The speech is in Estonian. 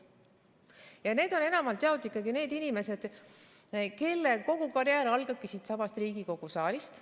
Ja need on enamalt jaolt ikkagi need inimesed, kelle kogu karjäär algabki siitsamast Riigikogu saalist.